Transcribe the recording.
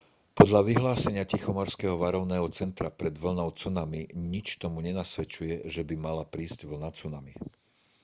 podľa vyhlásenia tichomorského varovného centra pred vlnou cunami nič tomu nenasvedčuje že by mala prísť vlna cunami